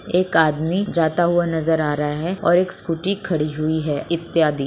एक आदमी जाता हुआ नजर आ रहा है और एक स्कूटी खड़ी हुई है इत्यादि।